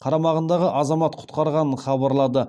қарамағындағы азамат құтқарғанын хабарлады